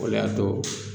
O le y'a to